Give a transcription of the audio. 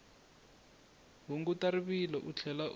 hunguta rivilo u tlhela u